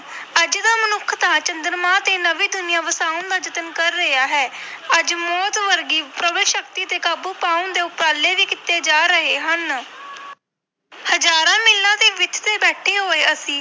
ਅੱਜ ਦਾ ਮਨੁੱਖ ਤਾਂ ਚੰਦਰਮਾ ਤੇ ਨਵੀਂ ਦੁਨੀਆਂ ਵਸਾਉਣ ਦਾ ਯਤਨ ਕਰ ਰਿਹਾ ਹੈ ਅੱਜ ਮੌਤ ਵਰਗੀ ਸ਼ਕਤੀ ਤੇ ਕਾਬੂ ਪਾਉਣ ਦੇ ਉਪਰਾਲੇ ਵੀ ਕੀਤੇ ਜਾ ਰਹੇ ਹਨ ਹਜ਼ਾਰਾਂ ਮੀਲਾਂ ਦੀ ਵਿੱਥ ਤੇ ਬੈਠੇ ਹੋਏ ਅਸੀਂ